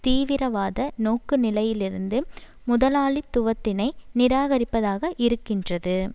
தீவிரவாத நோக்குநிலையிலிருந்து முதலாளித்துவத்தினை நிராகரிப்பதாக இருக்கின்றது